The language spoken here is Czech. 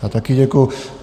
Já také děkuji.